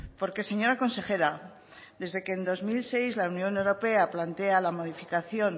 porque señora consejera desde que en dos mil seis la unión europea plantea la modificación